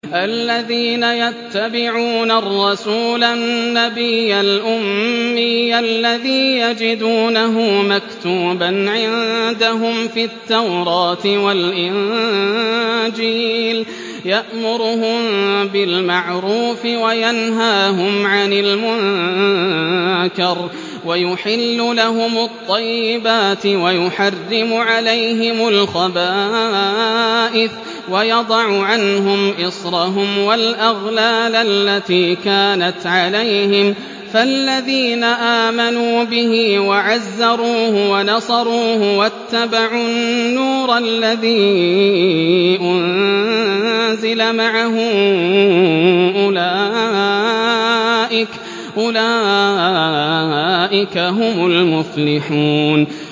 الَّذِينَ يَتَّبِعُونَ الرَّسُولَ النَّبِيَّ الْأُمِّيَّ الَّذِي يَجِدُونَهُ مَكْتُوبًا عِندَهُمْ فِي التَّوْرَاةِ وَالْإِنجِيلِ يَأْمُرُهُم بِالْمَعْرُوفِ وَيَنْهَاهُمْ عَنِ الْمُنكَرِ وَيُحِلُّ لَهُمُ الطَّيِّبَاتِ وَيُحَرِّمُ عَلَيْهِمُ الْخَبَائِثَ وَيَضَعُ عَنْهُمْ إِصْرَهُمْ وَالْأَغْلَالَ الَّتِي كَانَتْ عَلَيْهِمْ ۚ فَالَّذِينَ آمَنُوا بِهِ وَعَزَّرُوهُ وَنَصَرُوهُ وَاتَّبَعُوا النُّورَ الَّذِي أُنزِلَ مَعَهُ ۙ أُولَٰئِكَ هُمُ الْمُفْلِحُونَ